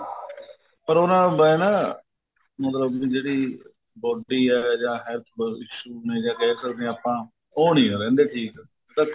ਪਰ ਹੁਣ ਹੁੰਦਾ ਨਾ ਮਤਲਬ ਜਿਹੜੀ body ਏ ਜਾਂ health issue ਨਹੀਂ ਤਾਂ ਕਹਿ ਸਕਦੇ ਆ ਆਪਾਂ ਉਹ ਨੀਂ ਨਾ ਰਹਿੰਦੇ ਠੀਕ sir